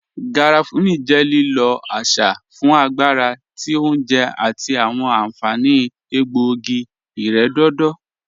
Garafuni jẹ lílọ̀ àṣà fún agbàrà tí ọ̀unjè àti awọn ànfaní ègbọ̀ogí-ìrẹ̀dọ̀dọ̀